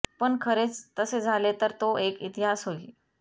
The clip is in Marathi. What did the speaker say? पण खरेच तसे झाले तर तो एक इतिहास होईल